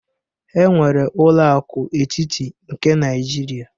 Enwere ụlọ aku etiti nke Naijiria